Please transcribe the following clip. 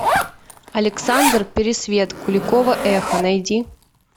александр пересвет куликово эхо найди